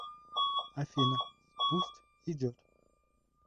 афина пусть идет